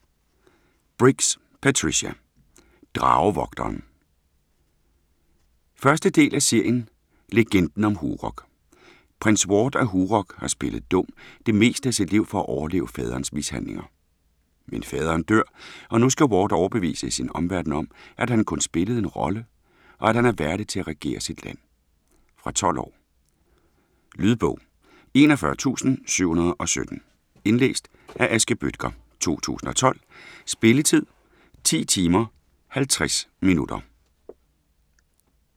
Briggs, Patricia: Dragevogteren 1. del af serien Legenden om Hurog. Prins Ward af Hurog har spillet dum det meste af sit liv for at overleve faderens mishandlinger. Men faderen dør og nu skal Ward overbevise sin omverden at han kun spillede en rolle, og at han er værdig til at regere sit land. Fra 12 år. Lydbog 41717 Indlæst af Aske Bøttger, 2012. Spilletid: 10 timer, 50 minutter.